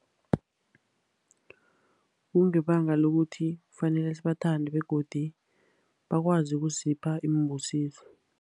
Kungebanga lokuthi kufanele sibathande, begodu bakwazi ukusipha iimbusiso.